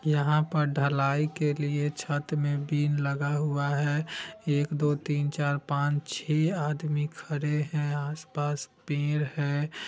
यहाँ पर ढलाई के लिए छत में बिन लगा हुआ है एक दो तीन चार पांच छे आदमी खड़े हैं आसपास पेड़ है।